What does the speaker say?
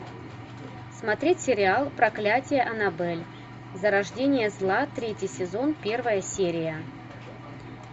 смотреть сериал проклятие аннабель зарождение зла третий сезон первая серия